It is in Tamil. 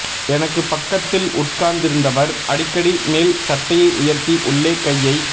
எனக்கு பக்கத்தில் உட்கார்ந்திருந்தவர் அடிக்கடி மேல் சட்டையை உயர்த்தி உள்ளே கையை